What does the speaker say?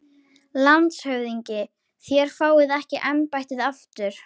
LANDSHÖFÐINGI: Þér fáið ekki embættið aftur